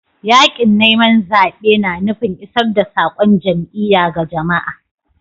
Yakin zabe na nufin isar da saƙon jam'iyya ga jama'a.